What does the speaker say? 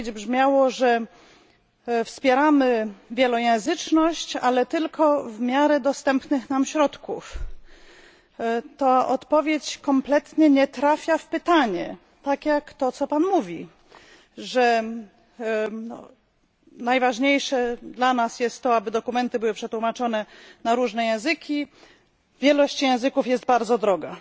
Odpowiedź brzmiała, że wspieramy wielojęzyczność, ale tylko w miarę dostępnych nam środków. Ta odpowiedź kompletnie nie trafia w pytanie, tak jak to, co Pan mówi że najważniejsze dla nas jest to, aby dokumenty były przetłumaczone na różne języki, ale wielość języków jest bardzo droga.